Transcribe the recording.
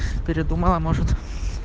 передумала может